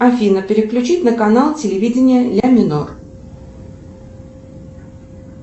афина переключить на канал телевидения ля минор